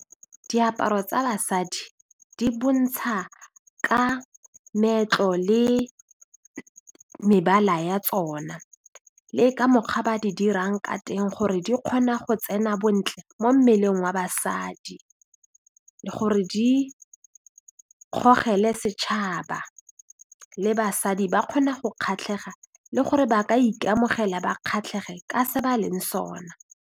Diaparo tsa basadi di bontsha ka meetlo le mebala ya tsona le ka mokgwa ba di dirang ka teng gore di kgona go tsena bontle mo mmeleng wa basadi le gore di setšhaba le basadi ba kgona go kgatlhega le gore ba ka ikamogela ba kgatlhege ka se ba leng sona.